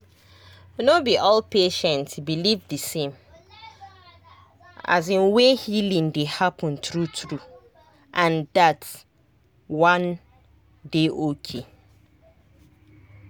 no be all patient believe the same um way healing dey happen true true—and that one dey okay.